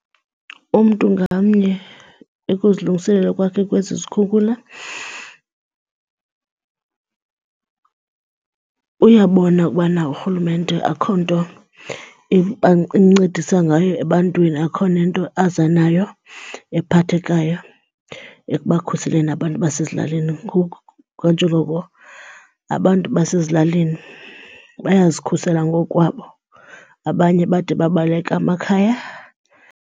Umntu ngamnye ekuzilungiselela kwakhe kwesi sikhukhula uyabona ubana uRhulumente akho nto imncedisa ngayo ebantwini akukho nento aza nayo ephathekayo ekubakhuseleni abantu basezilalini. Ngoku kanjengoko abantu basezilalini bayazikhusela ngoku kwabo abanye bade babaleka amakhaya.